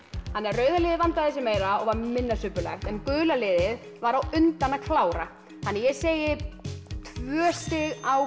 rauða liðið vandaði sig meira og var minna subbulegt en gula liðið var á undan að klára þannig að ég segi tvö stig á